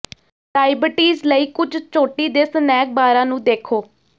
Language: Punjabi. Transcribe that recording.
ਡਾਇਬਟੀਜ਼ ਲਈ ਕੁੱਝ ਚੋਟੀ ਦੇ ਸਨੈਕ ਬਾਰਾਂ ਨੂੰ ਦੇਖੋ